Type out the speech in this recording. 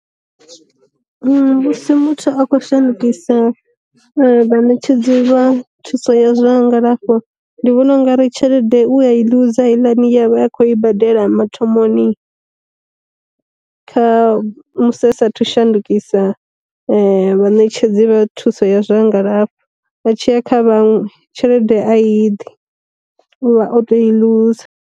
Musi muthu a khou shandukisa vha ṋetshedzi vha thuso ya zwa ngalafho, ndi vhona ungari tshelede uya i ḽuza heiḽani ye vha a khou i badela mathomoni, kha musi asathu shandukisa vha ṋetshedzi vha thuso ya zwa ngalafho, a tshiya kha vhaṅwe tshelede a yiḓi u vha o tou i ḽuza.